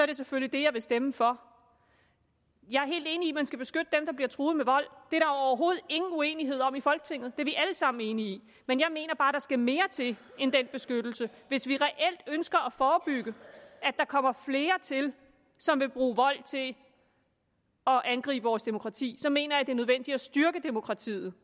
det selvfølgelig det jeg vil stemme for jeg er helt enig i at man skal beskytte dem der bliver truet med vold det er der overhovedet ingen uenighed om i folketinget er vi alle sammen enige i men jeg mener bare at der skal mere til end den beskyttelse hvis vi reelt ønsker at forebygge at der kommer flere til som vil bruge vold til at angribe vores demokrati så mener jeg at det er nødvendigt at styrke demokratiet